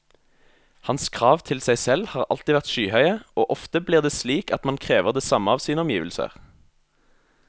Hans krav til seg selv har alltid vært skyhøye, og ofte blir det slik at man krever det samme av sine omgivelser.